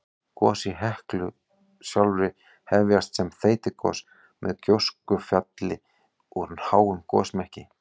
Gos í Heklu sjálfri hefjast sem þeytigos með gjóskufalli úr háum gosmekki.